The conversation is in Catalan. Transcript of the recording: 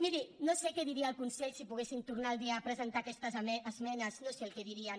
miri no sé què diria el consell si poguéssim tornar los a presentar aquestes esmenes no sé el que dirien